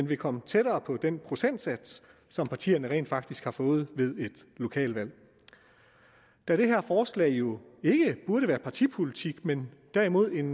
vil komme tættere på den procentsats som partierne rent faktisk har fået ved et lokalvalg da det her forslag jo ikke burde være partipolitik men derimod en